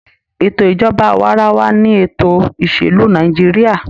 Ètò ìjọba awaarawa ni ètò ìsèlú Nàìjíríà.